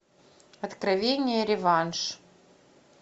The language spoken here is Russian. откровение реванш